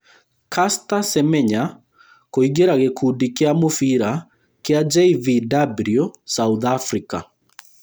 Caster Semenya kũingĩra gĩkundi kĩa mũbira kĩa JVW South Africa